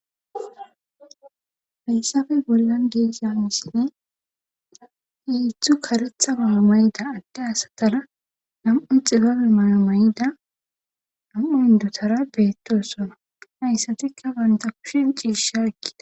fayssafe bollan geeszanisini iithu karetha mayo mayida adde asatana nam7u xibabe mayo mayida nam7u hindotara beettosona hayssatikka banta kushin ciishi arkida